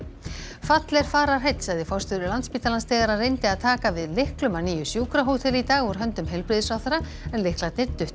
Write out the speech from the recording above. fall er fararheill sagði forstjóri Landspítalans þegar hann reyndi að taka við lyklum að nýju sjúkrahóteli í dag úr höndum heilbrigðisráðherra en lyklarnir duttu í